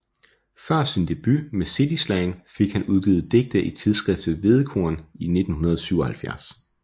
Før sin debut med City Slang fik han udgivet digte i tidsskriftet Hvedekorn i 1977